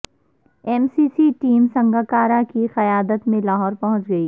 M C C team Sangakkara کی قیادت میں لاہور پہنچ گئی